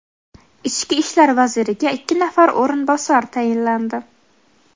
Ichki ishlar vaziriga ikki nafar o‘rinbosar tayinlandi.